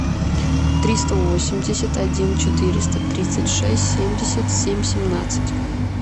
триста восемьдесят один четыреста тридцать шесть семьдесят семь семнадцать